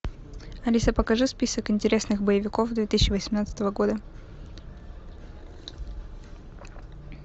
алиса покажи список интересных боевиков две тысячи восемнадцатого года